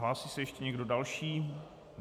Hlásí se ještě někdo další?